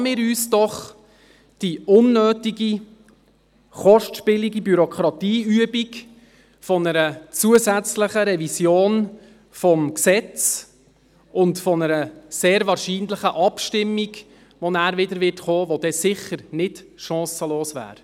Ersparen wir uns doch die unnötige, kostspielige Bürokratieübung einer zusätzlichen Revision des Gesetzes und einer sehr wahrscheinlichen Abstimmung, die nachher wiederkommen wird und die dann sicher nicht chancenlos wäre.